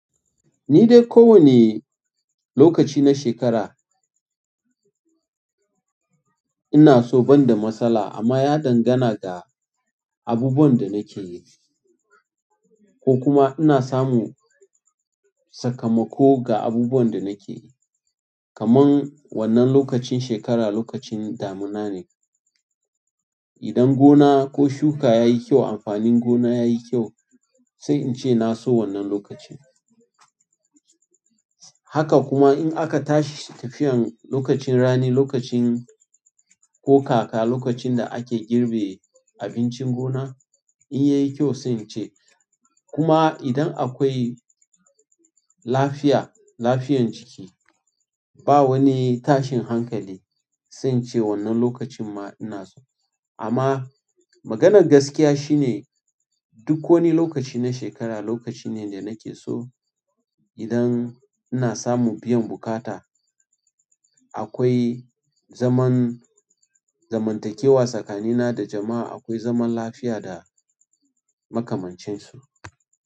Ni dai ko wane lokaci na shekara ina so ban da matsala amma ya dangana da abubuwan da nake yi ko kuma ina samu sakamako ga abubuwan da nake yi. Kaman wannan lokacin shekara lokacin damina ne. Idan gona ko shuka yayi kyau, amfanin gona yayi kyau, sai in ce na so wannan lokacin. Haka kuma in aka tashi tafiyan lokacin rani, lokacin ko kaka, lokacin da ake girbe abincin gona in yayi kyau sai in ce. Kuma idan akwai lafiya, lafiyan jiki ba wani tashin hankali sai in ce wannan lokacin ma ina so. Amma maganar gaskiya shine duk wani lokaci na shekara lokaci ne da nake so. Idan ina samu biyan buƙata, akwai zaman zamantakewa tsakanina da jama'a, akwai zaman lafiya da makamancin su.